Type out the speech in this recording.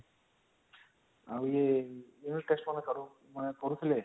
ଆଉ ୟେ unit test ମାନେ କରୁଥିଲେ